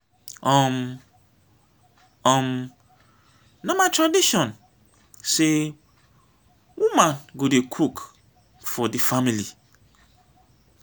um um na my tradition sey woman go dey cook for di family.